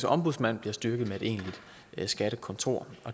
ombudsmand bliver styrket med et egentligt skattekontor